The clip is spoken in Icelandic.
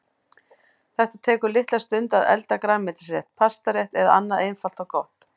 Það tekur litla stund að elda grænmetisrétt, pastarétt eða annað einfalt og gott.